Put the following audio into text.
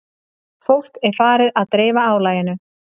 Fólk er farið að dreifa álaginu